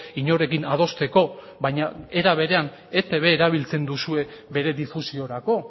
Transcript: inorekin adosteko baina era berean etb erabiltzen duzue bere difusiorako